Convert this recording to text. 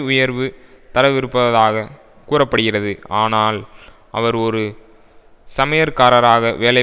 உயர்வு தரவிருப்பதாகக் கூற படுகிறது ஆனால் அவர் ஓரு சமையற்காரராக வேலை